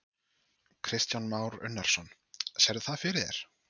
Kristján Már Unnarsson: Sérðu það fyrir þér?